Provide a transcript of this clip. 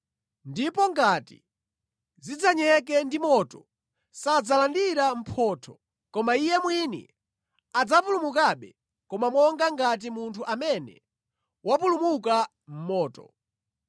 Ndipo ngati zidzanyeke ndi moto, sadzalandira mphotho koma iye mwini adzapulumukabe, koma monga ngati munthu amene wapulumuka mʼmoto.